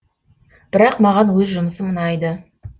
бірақ маған өз жұмысым ұнайды